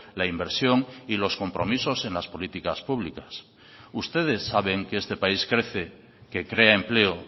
la inversión y los compromisos en las políticas públicas ustedes saben que este país crece que crea empleo